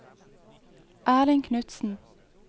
Erling Knutsen